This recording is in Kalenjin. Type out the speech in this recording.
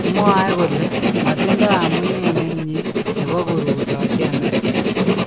Mwaee kole "matindoo amunee nemie " nebo koruutochi Amerika.